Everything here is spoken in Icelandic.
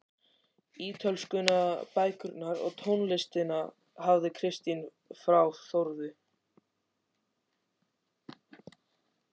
Ítölskuna, bækurnar og tónlistina hafði Kristján frá Þórði